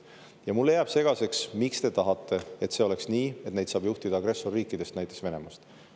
Ja mulle jääb segaseks, miks te tahate, et see oleks nii, et neid saab juhtida agressorriikidest, näiteks Venemaalt.